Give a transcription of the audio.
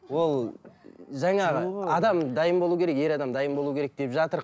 ол жаңа адам дайын болу керек ер адам дайын болу керек деп